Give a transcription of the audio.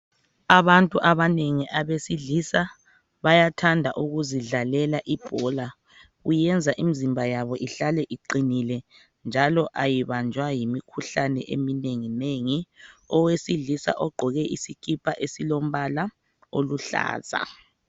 Abantu abanengi abesilisa bayathanda ukuzidlalela ibhola. Kuyenza imizimba yabo ihlale iqinile, njalo ayibanjwa yimikhuhlane eminenginengi.,Owesilisa ogqoke isikipa, esilombala oluhlaza.